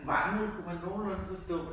Vangede kunne man nogenlunde forstå